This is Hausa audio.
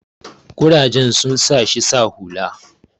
kurajen sun sa shi sa hula